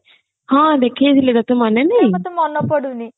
ହଁ ଦେଖେଇ ଥିଲେ ତତେ ମନେ ନାଇଁ